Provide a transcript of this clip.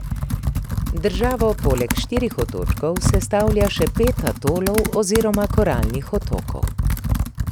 Državo poleg štirih otočkov sestavlja še pet atolov oziroma koralnih otokov.